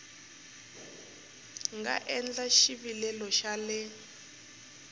nga endla xivilelo xa le